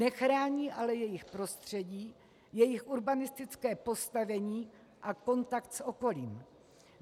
Nechrání ale jejich prostředí, jejich urbanistické postavení a kontakt s okolím.